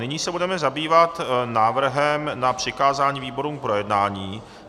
Nyní se budeme zabývat návrhem na přikázání výborům k projednání.